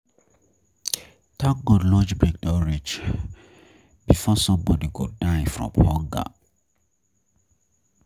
Thank God lunch break don reach before somebody go die from hunger